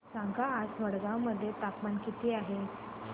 सांगा आज मडगाव मध्ये तापमान किती आहे